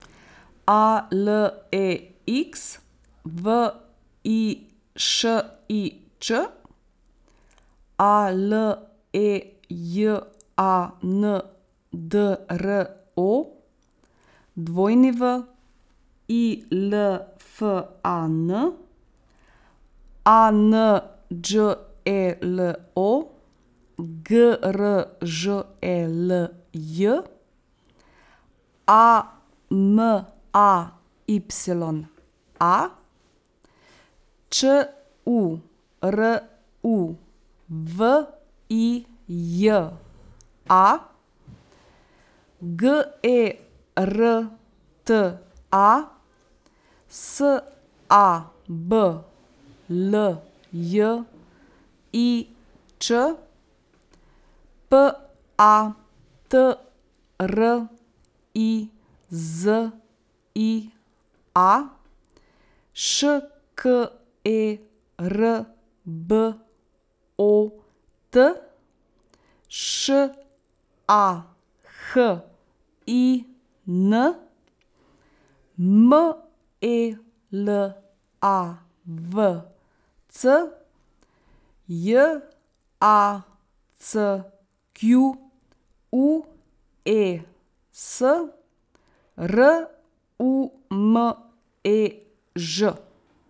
A L E X, V I Š I Č; A L E J A N D R O, W I L F A N; A N Đ E L O, G R Ž E L J; A M A Y A, Č U R U V I J A; G E R T A, S A B L J I Ć; P A T R I Z I A, Š K E R B O T; Š A H I N, M E L A V C; J A C Q U E S, R U M E Ž.